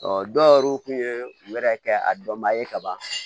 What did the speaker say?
dɔw tun ye wɛrɛ kɛ a dɔnba ye ka ban